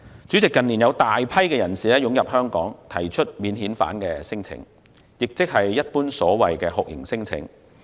主席，近年有大量人士湧入香港並提出免遣返聲請，即所謂酷刑聲請。